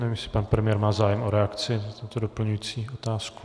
Nevím, jestli pan premiér má zájem o reakci na tuto doplňující otázku.